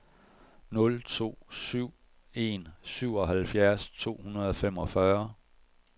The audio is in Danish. nul to syv en syvoghalvfjerds to hundrede og femogfyrre